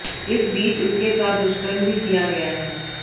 इस बीच उसके साथ दुष्कर्म भी किया गया है